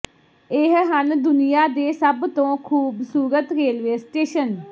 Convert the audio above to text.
ਇਹ ਹਨ ਦੁਨੀਆ ਦੇ ਸਭ ਤੋਂ ਖੂਬਸੂਰਤ ਰੇਲਵੇ ਸਟੇਸ਼ਨ